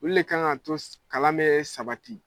Olu le kan ka to kalan mɛ sabati.